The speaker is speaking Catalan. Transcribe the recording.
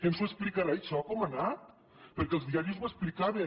ens ho explicarà això com ha anat perquè els diaris ho explicaven